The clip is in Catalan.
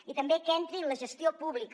i també que entri en la gestió pública